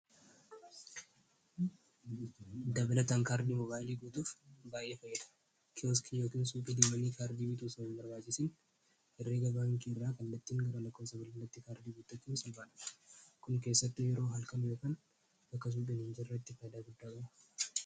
Dabalataan mobaayla kaardii guutuuf faaydaa guddaa qaba.